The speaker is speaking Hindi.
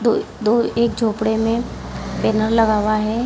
दो दो एक झोंपड़े में बेनर लगा हुआ है।